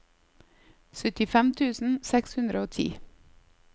syttifem tusen seks hundre og ti